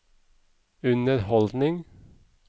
underholdning